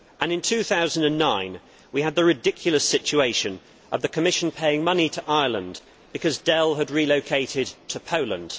In 2009 we had the ridiculous situation of the Commission paying money to Ireland because Dell had relocated to Poland.